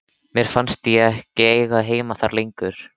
Mér fannst ég ekki eiga heima þar lengur.